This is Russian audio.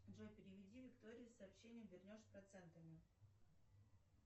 джой переведи виктории сообщение вернешь с процентами